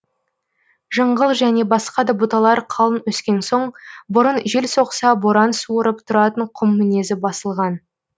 жыңғыл және басқа да бұталар қалың өскен соң бұрын жел соқса боран суырып тұратын құм мінезі басылған